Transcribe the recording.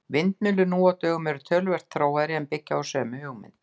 Vindmyllur nú á dögum eru töluvert þróaðri en byggja á sömu hugmynd.